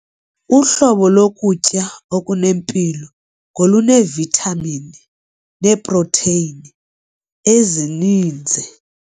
Uhlobo lokutya okunempilo ngoluneevithamini neeprotheyini ezininzi.